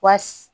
Wa